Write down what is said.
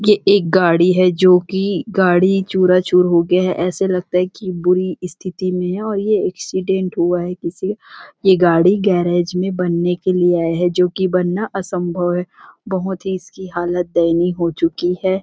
ये एक गाड़ी है जोकि गाड़ी चुरा चूर हो गया है ऐसे लगता है की बुरी स्थिति में है और यह एक्सीडेंट हुआ है किसी ये गाड़ी गैरेज में बनने के लिए आया है जोकि बनना असंभव है बहुत इस की हालत दयनीय हो चुकी है।